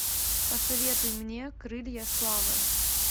посоветуй мне крылья славы